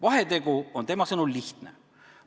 Vahetegu on tema sõnul lihtne.